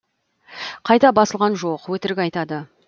қайта басылған жоқ өтірік айтады